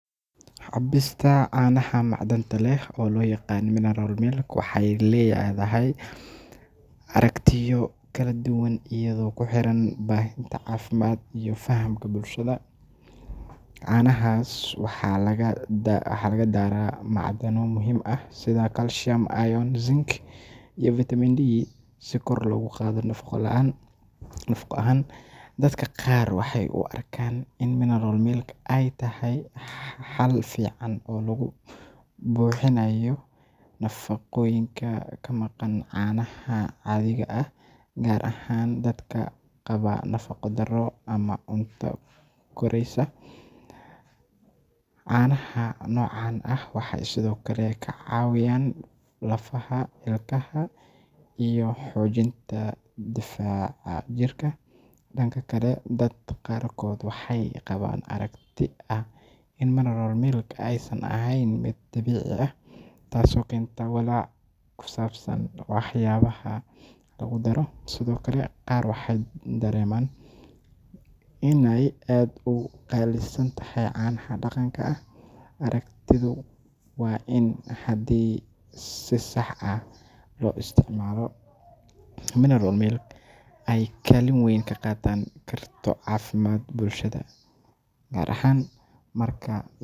Cabbista caanaha macdanta leh ee loo yaqaan mineral milk waxay leedahay aragtiyo kala duwan iyadoo ku xiran baahida caafimaad iyo fahamka bulshada. Caanahaas waxaa lagu daraa macdano muhiim ah sida calcium, iron, zinc, iyo vitamin D si kor loogu qaado nafaqo ahaan. Dadka qaar waxay u arkaan in mineral milk ay tahay xal fiican oo lagu buuxinayo nafaqooyinka ka maqan caanaha caadiga ah, gaar ahaan dadka qaba nafaqo-darro ama caruurta koraysa. Caanaha noocan ah waxay sidoo kale ka caawiyaan lafaha, ilkaha, iyo xoojinta difaaca jirka. Dhanka kale, dad qaarkood waxay qabaan aragti ah in mineral milk aysan ahayn mid dabiici ah, taasoo keenta walaac ku saabsan waxyaabaha lagu daro. Sidoo kale, qaar waxay dareemaan inay aad uga qaalisan tahay caanaha dhaqanka ah. Aragtidaydu waa in haddii si sax ah loo isticmaalo, mineral milk ay kaalin weyn ka qaadan karto caafimaadka bulshada, gaar ahaan marka.